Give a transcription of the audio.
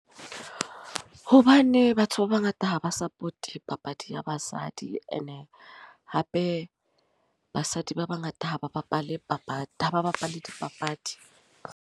Hobane batho ba bangata ha ba support papadi ya basadi. E ne hape, basadi ba bangata ha ba bapale papadi, ha ba bapale dipapadi.